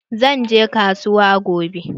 Zan je kasuwa gobe.